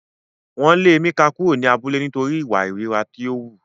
Wọn le Emeka kuro ni abule nitori iwa ìríra ti o hu.